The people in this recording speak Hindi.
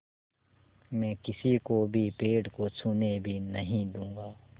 मैं किसी को भी पेड़ को छूने भी नहीं दूँगा